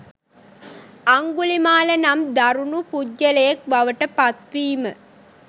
අංගුලිමාල නම් දරුණු පුද්ගලයෙක් බවට පත්වීම.